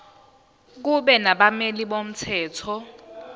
kube nabameli bomthetho